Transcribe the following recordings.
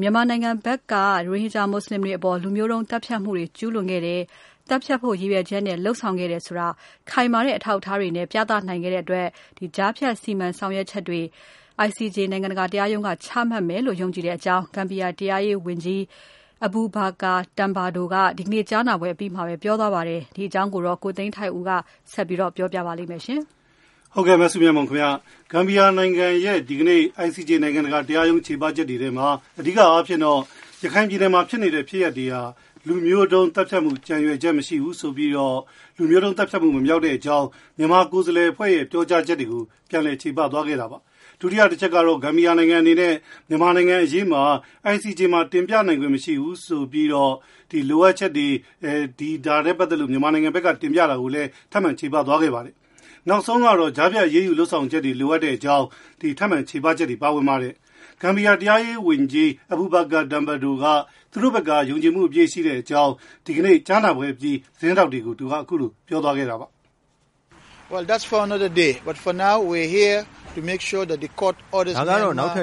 မြန်မာနိုင်ငံဘက်က ရိုဟင်ဂျာမူဆလင်တွေအပေါ် လူမျိုးတုံး သတ်ဖြတ်မှုတွေ ကျုးလွန်ခဲ့တယ်။ သတ်ဖြတ်ဖို့ ရည်ရွယ်ချက်နဲ့ လုပ်ဆောင်ခဲ့တယ်ဆိုတာ ခိုင်မာတဲ့ အထောက်အထားတွေနဲ့ ပြသနိုင်ခဲ့တဲ့အတွက် ကြားဖြတ်စီမံဆောင်ရွက်ချက်တွေ ICJ နိုင်ငံတကာ တရားရုံးက ချမှတ်မယ်လို့ ယုံကြည်တဲ့အကြောင်း ဂမ်ဘီယာ တရားရေး ဝန်ကြီး Abubacarr Tambadou က ဒီနေ့ ကြားနာပွဲအပြီး ပြောဆိုသွားပါတယ်။ ဒီအကြောင်းကို ကိုသိန်းထိုက်ဦး ပြောပြပါလိမ့်မယ်။ Gambia နိုင်ငံရဲ့ ဒီကနေ့ICJ နိုင်ငံတကာ တရားရုံးချေပချက်တွေထဲမှာ အဓိကအားဖြင့်တော့ ရခိုင်ပြည်နယ်မှာ ဖြစ်နေတဲ့ ဖြစ်ရပ်တွေဟာ လူမျိုးတုံးသတ်ဖြတ်မှု ကြံရွယ်ချက် မရှိကြောင်း၊ လူမျိုးတုံးသတ်ဖြတ်မှု မမြောက်ကြောင်း မြန်မာကိုယ်စားလှယ်အဖွဲ့ရဲ့ ပြောကြားချက်တွေကို ပြန်လည်ချေပခြင်း၊ဒုတိယ တချက်ကတော့ ဂမ်ဘီယာနိုင်ငံအနေနဲ့ မြန်မာနိုင်ငံအရေးကို ICJ မှာ တင်ပြနိုင်ခွင့် မရှိဘူးဆိုတဲ့ Prima Facie လိုအပ်ချက်တွေအကြောင်း ထပ်မံ ချေပသွားပါတယ်။ နောက်ဆုံးကတော့ ကြားဖြတ်အရေးယူလုပ်ဆောင်ချက်များ လိုအပ်ကြောင်း ထပ်မံချေပချက်တွေ ပါဝင်ပါတယ်။ ဂမ်ဘီယာ တရားရေး ဝန်ကြီး Abubacarr Tambadou ကတော့ ယုံကြည်မှု အပြည့်ရှိတဲ့အကြောင်း ကြားနာပွဲအပြီး သတင်းထောက်တွေကို သူကပြောသွားခဲ့တာပါ။ "ဒါကတော့ နောက်ထပ်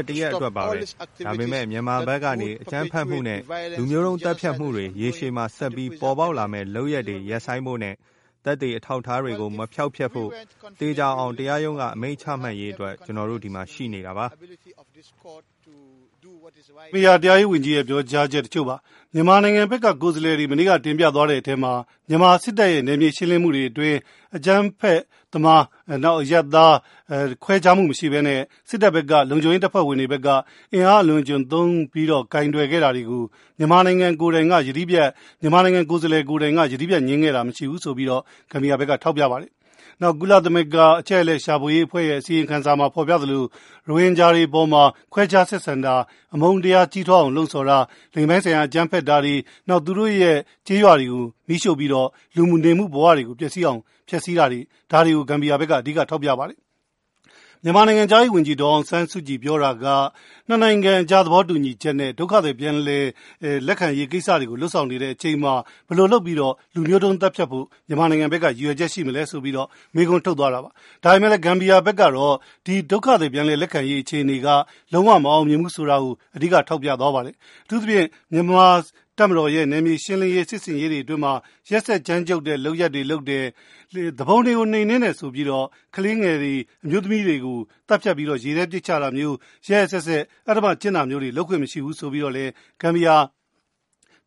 တရက်အတွက်ပါပဲ။ ဒါပေမဲ့မြန်မာဘက်ကနေ အကြမ်းဖက်မှုနဲ့ လူမျိုးတုံးသတ်ဖြတ်မှုတွေ ရေရှည်မှာ ဆက်ပြီး ပေါ်ပေါက်လာမယ့် လုပ်ရပ်တွေ ရပ်ဆိုင်းဖို့နဲ့ သက်သေ အထောက်အထားတွေကို မဖျောက်ဖျက်ဖို့ သေချာအောင် တရားရုံးက အမိန့်ချမှတ်ရေးအတွက် ကျနော်တို့ ဒီမှာ ရှိနေတာပါ။" မြန်မာနိုင်ငံဘက်က ကိုယ်စားလှယ်တွေ မနေ့ကတင်ပြသွားတဲ့ အထဲမှာ မြန်မာ စစ်တပ်ရဲ့ နယ်မြေရှင်းလင်းမှုတွေအတွင်း အကြမ်းဖက်သမား၊ နောက်အရပ်သား ခွဲခြားမှုမရှိဘဲနဲ့ စစ်တပ် ဘက်က လုံခြုံရေးတပ်ဖွဲ့ဝင်တွေဘက်က အင်အားအလွန်အကျွံသုံးပြီးတော့ ကိုင်တွယ်ခဲ့တာတွေကို မြန်မာနိုင်ငံကိုယ်စားလှယ်ဘက်က ယတိပြတ် ငြင်းခဲ့တာ မရှိဘူးဆိုပြီးတော့ Gambia ဘက်ကထောက်ပြပါတယ်။ နောက် ကုလသမဂ္ဂ အချက်အလက် ရှာဖွေရေးအဖွဲ့ရဲ့ အစီရင်ခံစာမှာ ဖော်ပြသလို ရိုဟင်ဂျာတွေအပေါ်မှာ ခွဲခြားဆက်ဆံတာ အမုန်းတရား ကြီးထွားအောင်လှုံ့ဆော်တာ၊ လိင်ပိုင်းဆိုင်ရာ အကြမ်းဖက်တာတွေ နောက်သူတို့ရဲ့ ကျေးရွာတွေကို မီးရှိူ့ပြီးတော့ လူနေမှုဘဝတွေကို ပျက်စီးအောင် ဖျက်စီးတာတွေ ဒါတွေကို Gambia ဘက်က အဓိက ထောက်ပြပါတယ်။ မြန်မာ နိုင်ငံခြားရေးဝန်ကြီး ဒေါ်အောင်ဆန်းစုကြည်ပြောတာက ၂ နိုင်ငံအကြား သဘောတူညီချက်နဲ့ ဒုက္ခသည်ပြန်လည် လက်ခံရေးကိစ္စတွေကို လုပ်ဆောင်နေတဲ့ အချိန်မှာ ဘယ်လိုလုပ်ပြီးတော့ လူမျိုးတုံးသတ်ဖြတ်ဖို့ မြန်မာဘက်က ရည်ရွယ်ချက် ရှိမလဲဆိုပြီးတော့ မေးခွန်းထုတ်သွားတာပါ။ ဒါပေမဲ့လည်း Gambia ဘက်ကတော့ ဒီ ဒုက္ခသည် ပြန်လည်လက်ခံရေးအခြေအနေက လုံးဝမအောင်မြင်ဘူး ဆိုတာကို အဓိက ထောက်ပြသွားပါတယ်။ အထူးသဖြင့် မြန်မာတပ်မတော်ရဲ့ နယ်မြေရှင်းလင်းရေး စစ်ဆင်ရေးတွေအတွင်းမှာ ရက်စက်ကြမ်းကြုတ်တဲ့အလုပ်တွေ လုပ်တယ်။ သူပုန်တွေကို နှိမ်နင်းတယ်ဆိုပြီးတော့ ကလေးငယ်တွေ၊ အမျိုးသမီးတွေကို သတ်ဖြတ်ပြီးတော့ ရေထဲ ပစ်ချတာမျိုး ရက်ရက်စက်စက် အဓ္ဓမကျင့်တာမျိုးတွေ လုပ်ခွင့်မရှိဘူးဆိုပြီးတော့လည်း ဂမ်ဘီယာ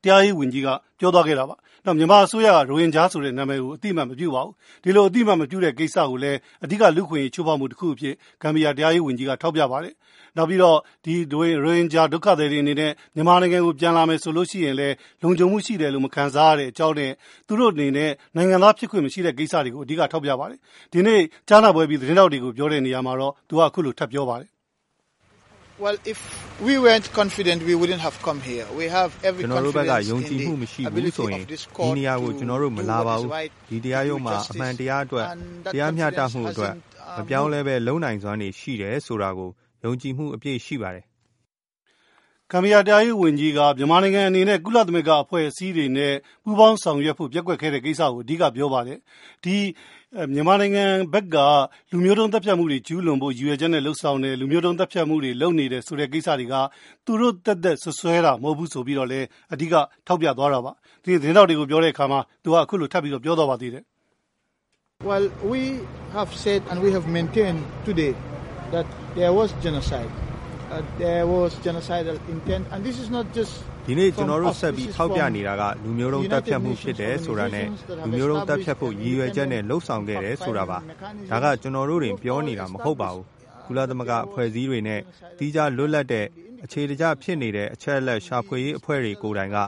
တရားရေး ဝန်ကြီးက ပြောသွားခဲ့တာပါ။ နောက်မြန်မာအစိုးရက ရိုဟင်ဂျာဆိုတဲ့နာမည်ကို အသိအမှတ် မပြုပါဘူး။ ဒီလိုအသိအမှတ်မပြုတဲ့ ကိစ္စကိုလည်း အဓိက လူ့အခွင့်အရေးချိုးဖောက်မှုတခုအဖြစ် ဂမ်ဘီယာ တရားရေး ဝန်ကြီး က ထောက်ပြပါတယ်။ နောက်ပြီးတော့ ဒီရိုဟင်ဂျာ ဒုက္ခသည်အနေနဲ့ မြန်မာနိုင်ငံကို ပြန်လာမယ်ဆိုလို့ရှိရင်လည်း လုံခြုံမှုရှိတယ်လို့ မခံစားရတဲ့အကြောင်းနဲ့ သူတို့အနေနဲ့ နိုင်ငံသား ဖြစ်ခွင့် မရှိတဲ့ ကိစ္စတွေကို အဓိက ထောက်ပြပါတယ်။ ဒီနေ့ ကြားနာပွဲအပြီး သတင်းထောက်တွေကို ပြောတဲ့နေရာမှာတော့ သူက အခုလို ထပ်ပြောပါတယ်။ "ကျနော်တို့ဘက်က ယုံကြည်မှု မရှိဘူးဆိုရင် ဒီနေရာကို ကျနော်တို့ မလာပါဘူး။ ဒီတရားရုံးမှာ အမှန်တရားအတွက် တရားမျှတမှုအတွက် မပြောင်းလဲဘဲ လုပ်နိုင်စွမ်းတွေ ရှိတယ်ဆိုတာကို ယုံကြည်မှု အပြည့် ရှိပါတယ်။" ဂမ်ဘီယာ တရားရေး ဝန်ကြီး က မြန်မာနိုင်ငံအနေနဲ့ ကုလသမဂ္ဂအဖွဲ့အစည်းတွေနဲ့ ပူပေါင်းဆောင်ရွက်ဖို့ ပျက်ကွက်ခဲ့တဲ့ ကိစ္စကို အဓိက ပြောပါတယ်။ ဒီ မြန်မာနိုင်ငံဘက်က လူမျိုးတုံး သတ်ဖြတ်မှုတွေ ကျုးလွန်ဖို့ ရည်ရွယ်လုပ်ဆောင်ခဲ့တဲ့ လူမျိုးတုံး သတ်ဖြတ်မှုတွေ လုပ်နေတဲ့ ကိစ္စတွေက သူတို့ သက်သက် စွပ်စွဲတာ မဟုတ်ဘူးဆိုပြီးတော့လည်း အဓိက ထောက်ပြသွားတာပါ။ သတင်းထောက်တွေကို ပြောတဲ့ အခါမှာ သူက အခုလိုထပ်ပြီးတော့ ပြောသွားပါသေးတယ်။ "ဒီနေ့ ကျနော်တို့ ဆက်ပြီး ထောက်ပြနေတာက လူမျိုးတုံးသတ်ဖြတ်မှု ဖြစ်တယ်ဆိုတာနဲ့၊ လူမျိုးတုံးသတ်ဖြတ်ဖို့ ရည်ရွယ်ချက်နဲ့ လုပ်ဆောင်ခဲ့တယ်ဆိုတာပါ။ ဒါက ကျနော်တို့တင်ပြောတာ မဟုတ်ပါဘူး။ ကုလသမဂ္ဂအဖွဲ့အစည်းတွေနဲ့ သီးခြားလွတ်လပ်တဲ့ အခြေတကျ ဖြစ်နေတဲ့ အချက်အလက် ရှာဖွေရေး အဖွဲ့တွေကိုယ်တိုင်က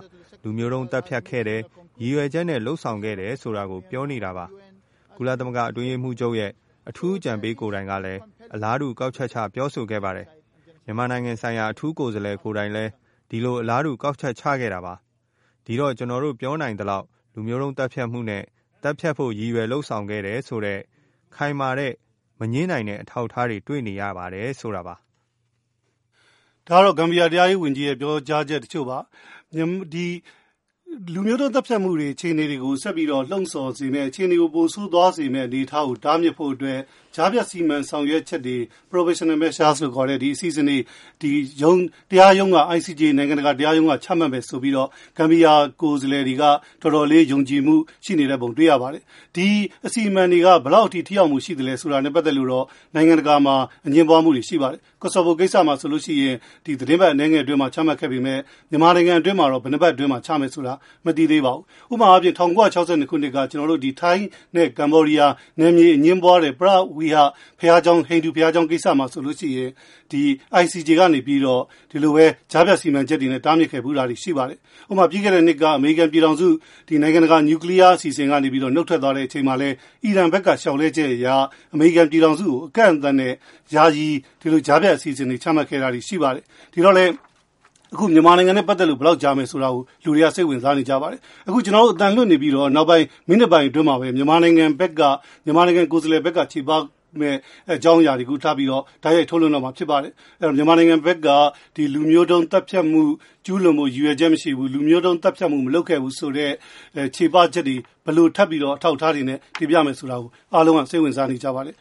လူမျိုးတုံးသတ်ဖြတ်ခဲ့တယ်၊ ရည်ရွယ်ချက်နဲ့ လုပ်ဆောင်ခဲ့တယ် ဆိုတာကို ပြောနေတာပါ။ ကုလသမဂ္ဂအတွင်းရေးမှူးချုပ်ရဲ့ အထူး အကြံပေးကိုယ်တိုင်ကလည်း အလားတူ ကောက်ချက်ချ ပြောဆိုခဲ့ပါတယ်။ မြန်မာနိုင်ငံဆိုင်ရာ အထူးကိုယ်စားလှယ်ကိုယ်တိုင်လည်း ဒီလို အလားတူ ကောက်ချက်ချခဲ့တာပါ။ ဒီတော့ ကျနော်တို့ ပြောနိုင်သလောက် လူမျိုးတုံးသတ်ဖြတ်မှုနဲ့ သတ်ဖြတ်ဖို့ ရည်ရွယ်လုပ်ဆောင်ခဲ့တယ်ဆိုတဲ့ ခိုင်မာတဲ့၊ မငြင်းနိုင်တဲ့ အထောက်အထားတွေ တွေ့နေရပါတယ် ဆိုတာပါ။" ဒီလူမျိုးတုံးသတ်ဖြတ်မှု အခြေအနေတွေကို ဆက်ပြီးတော့ လှုံဆော်စေမယ့် အခြေအနေကို ပိုဆိုးသွားစေမယ့် အခြေအနေကို တားမြစ်ဖို့အတွက် ကြားဖြတ်စီမံဆောင်ရွက်ချက်တွေ Provisional Measure လို့ခေါ်တဲ့ ဒီအစီအစဉ်တွေ ICJ နိုင်ငံတကာ တရားရုံးက ချမှတ်မယ်ဆိုပြီးတော့ Gambia ကိုယ်စားလှယ်တွေက တော်တော်လေးယုံကြည်မှုရှိနေတဲ့ပုံတွေ့ရပါတယ်။ ဒီအစီအမံတွေက ဘယ်လောက်ထိ ထိရောက်မှု ရှိသလဲဆိုတာနဲ့ ပတ်သက်လို့တော့ နိုင်ငံတကာ မှာ အငြင်းပွားမှုတွေ ရှိပါတယ်။ ကော်ဆိုပို ကိစ္စမှာ ဆိုလို့ရှိရင် ဒီသတင်းပတ်အနည်းငယ်အတွင်းမှာ ချမှတ်ခဲ့ပေမဲ့ မြန်မာနိုင်ငံအတွင်းမှာတော့ ဘယ်နှစ်ပတ် အတွင်းမှာ ချမယ်ဆိုတာ မသိသေးပါဘူး။ ဥပမာအားဖြင့် ၁၉၆၂ ခုနှစ်က ထိုင်းနဲ့ Cambodia နယ်မြေအငြင်းပွားတဲ့ ပရဝိဟာရ ဟိန္ဒူ ဘုရားကျောင်း ကိစ္စမှာ ဆိုလို့ရှိရင် ဒီ ICJ က နေပြီးတော့ ဒီလိုပဲ ကြားဖြတ် စီမံချက်တွေနဲ့ တားမြစ်ခဲ့ဖူးတာတွေ ရှိပါတယ်။ အမေရိကန်ပြည်ထောင်စုက ပြီးခဲ့တဲ့နှစ်က နုတ်ထွက်သွားတော့လည်း အီရန်ဘက်က လျှောက်လဲချက်အရ အမေရိကန်ပြည်ထောင်စုကို အကန့်အသတ်နဲ့ ယာယီ ဒီလို ကြားဖြတ်အစီအစဉ်တွေ ချမှတ်ခဲ့တာတွေ ရှိပါတယ်။ ဒီတော့လည်း အခု မြန်မာနိုင်ငံနဲ့ ပတ်သက်လို့ ဘယ်လောက်ကြာမယ်ဆိုတာကို လူတွေက စိတ်ဝင်စားနေကြပါတယ်။ မြန်မာနိုင်ငံဘက်ကတော့ လူမျိုးတုံး သတ်ဖြတ်မှု မရှိဘူး၊ ရည်ရွယ်ချက် မရှိဘူး၊ ဒီလူမျိုးတုံးသတ်ဖြတ်မှု မလုပ်ခဲ့ဘူးဆိုတဲ့ ချေပချက်တွေ ဘယ်လိုထပ်ပြီးတော့ အထောက်အထားတွေနဲ့ ထပ်ပြီးတော့တင်ပြမလဲဆိုတာ အားလုံးက စိတ်ဝင်စားနေကြပါတယ်